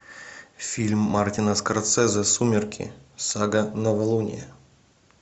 фильм мартина скорсезе сумерки сага новолуние